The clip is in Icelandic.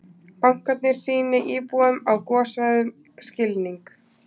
Bankarnir sýni íbúum á gossvæðum skilning